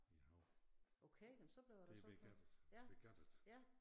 I æ hav det ved gattet ved gattet